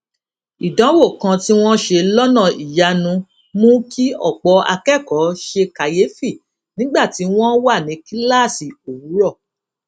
ìdánwò kan tí wón ṣe lónà ìyanu mú kí òpò akékòó ṣe kàyéfì nígbà tí wón wà ní kíláàsì òwúrò